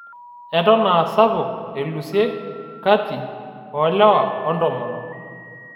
Eton aa sapuk elusie kati oolewa oontomonok